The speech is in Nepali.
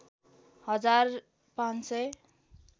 हजार ५ सय